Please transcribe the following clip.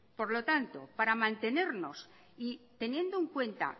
por lo tanto para mantenernos y teniendo en cuenta